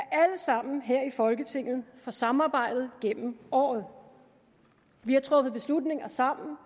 alle sammen her i folketinget for samarbejdet gennem året vi har truffet beslutninger sammen og